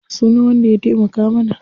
Ya sunan wanda ya taimaka mana?